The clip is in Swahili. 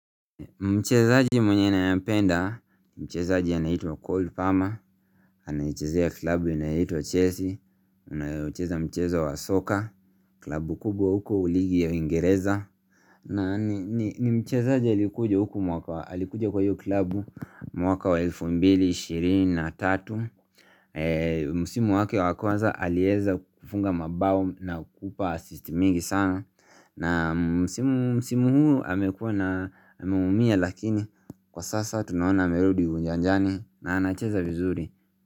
Mchezaji mwenye ninampenda, mchezaji anaitwa Col Palmer, anaichezea klabu inaitwa Chelsea, anacheza mchezo wa soccer, klabu kubwa huko ligi ya uingereza. Na ni mchezaji alikuja huku mwaka, alikuja kwa hiyo klabu mwaka wa 2023. Msimu wake wakwanza alieza kufunga mabao na kupa assist mingi sana na msimu musimu huu amekuwa na ameumia lakini kwa sasa tunaona amerudi uwanjani na anacheza vizuri.